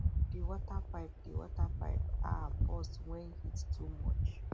the water pipe the water pipe um burst when heat too much